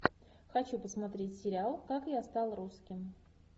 хочу посмотреть сериал как я стал русским